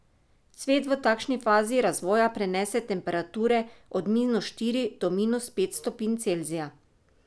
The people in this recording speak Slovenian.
Cvet v takšni fazi razvoja prenese temperature od minus štiri do minus pet stopinj Celzija.